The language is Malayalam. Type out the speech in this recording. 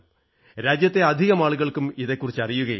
രാജ്യത്തെ അധികമാളുകൾക്കും ഇതെക്കുറിച്ച് അറിയുകയില്ല